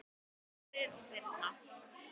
Þórir og Birna.